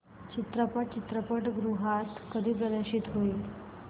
चित्रपट चित्रपटगृहात कधी प्रदर्शित होईल